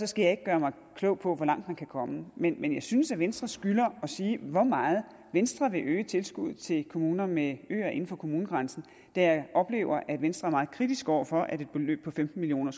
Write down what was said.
skal jeg ikke gøre mig klog på hvor langt man kan komme men jeg synes at venstre skylder at sige hvor meget venstre vil øge tilskuddet til kommuner med øer inden for kommunegrænsen da jeg oplever at venstre er meget kritisk over for at et beløb på femten million